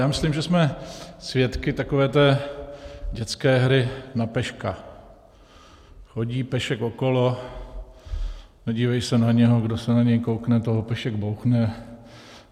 Já myslím, že jsme svědky takové té dětské hry na peška - chodí pešek okolo, nedívej se na něho, kdo se na něj koukne, toho pešek bouchne.